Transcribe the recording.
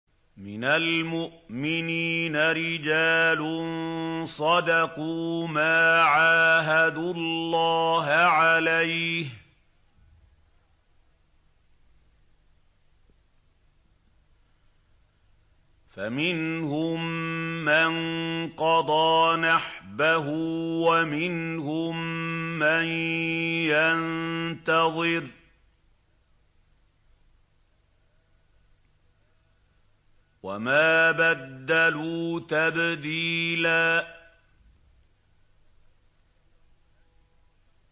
مِّنَ الْمُؤْمِنِينَ رِجَالٌ صَدَقُوا مَا عَاهَدُوا اللَّهَ عَلَيْهِ ۖ فَمِنْهُم مَّن قَضَىٰ نَحْبَهُ وَمِنْهُم مَّن يَنتَظِرُ ۖ وَمَا بَدَّلُوا تَبْدِيلًا